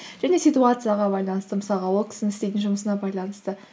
және ситуацияға байланысты мысалға ол кісінің істейтін жұмысына байланысты